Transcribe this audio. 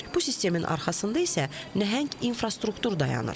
Bu sistemin arxasında isə nəhəng infrastruktur dayanır.